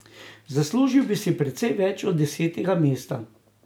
Zaslužil bi si precej več od desetega mesta.